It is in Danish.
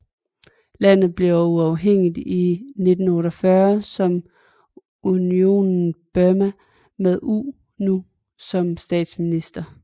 Landet blev uafhængigt i 1948 som Unionen Burma med U Nu som statsminister